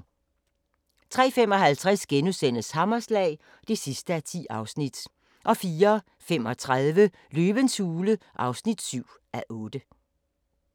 03:55: Hammerslag (10:10)* 04:35: Løvens hule (7:8)